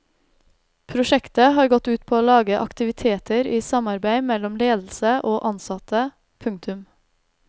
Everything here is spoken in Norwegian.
Prosjektet har gått ut på å lage aktiviteter i samarbeid mellom ledelse og ansatte. punktum